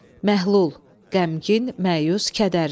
Məhlul – qəmgin, məyus, kədərli.